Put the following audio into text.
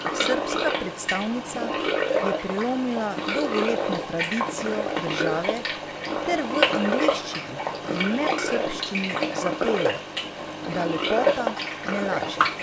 Srbska predstavnica je prelomila dolgoletno tradicijo države ter v angleščini in ne srbščini zapela, da lepota ne laže.